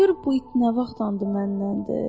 Gör bu it nə vaxtdı mənnəndir.